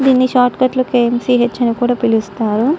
దీని shortcut లొ K M C H అని కూడా పిలుస్తారు.